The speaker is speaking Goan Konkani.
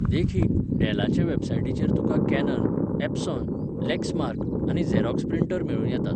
देखीक, डॅलाचे वॅबसायटीचेर तुका कॅनन, एप्सॉन, लॅक्समार्क, आनी झॅरॉक्स प्रिंटर मेळूं येतात.